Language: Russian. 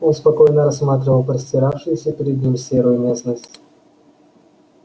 он спокойно рассматривал простиравшуюся перед ним серую местность